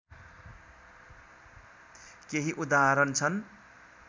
केही उदाहरण छन्